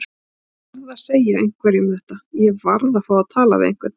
Ég varð að segja einhverjum þetta. ég varð að fá að tala við einhvern.